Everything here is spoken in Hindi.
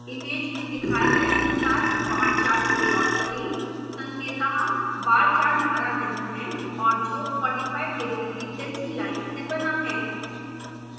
इमेज में दिखाए गए अनुसार बार चार्ट को प्लॉट करें: